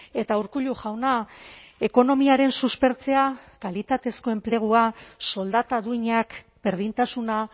eta urkullu jauna ekonomiaren suspertzea kalitatezko enplegua soldata duinak berdintasuna